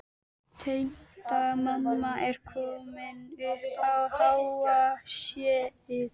Tengdamamma er komin upp á háa sé-ið.